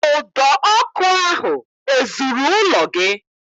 Ụdọ ọkụ ahụ ezuru ụlọ gị?